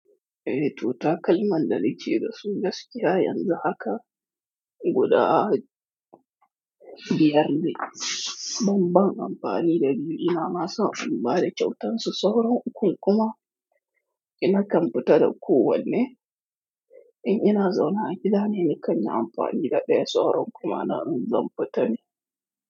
Eh to takalman da na ke. Dasu gaskiya yanzu haka guda biyar ne. Banban amfani da biyu ina masa in ba da kyautansu sauran uku kuma ina kan fita da kowanne. In ina zaune a gida ne, ni kan yi amfani da ɗaya sauran kuma na in zan fita ne.